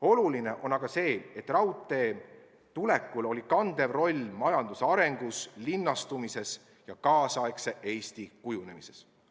Oluline on aga see, et raudtee tulekul oli kandev roll majanduse arengus, linnastumises ja tänapäevase Eesti kujunemises.